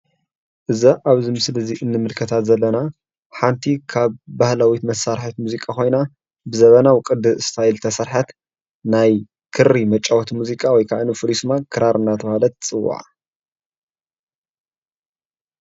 እዛ ኣብዚ ምስሊ እዚ እንምልከታ ዘለና ሓንቲ ካብ ባህላዊት መሳርሒት ሙዚቃ ኮይና ብዘበናዊ ቅዲ ስታይል ዝተሰርሐት ናይ ክሪ መጫወቲ ሙዚቃ ወይከዓ ፉልይ ስማ ክራር እናተብሃለት ትጽዋዕ።